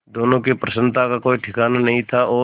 दोनों की प्रसन्नता का कोई ठिकाना नहीं था और